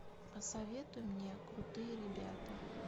посоветуй мне крутые ребята